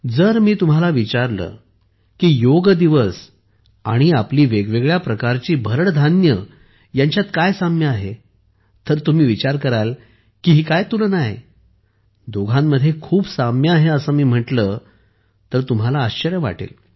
जर मी तुम्हाला विचारले की योग दिवस आणि आपली वेगवेगळ्या प्रकारची भरड धान्ये यांच्यात काय साम्य आहे तर तुम्ही विचार कराल की ही काय तुलना आहे दोघांमध्ये खूप साम्य आहे असे मी म्हटले तर तुम्हाला आश्चर्य वाटेल